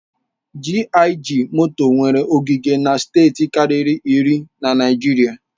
GIG moto nwere ogige na steeti karịri iri na Naịjirịa.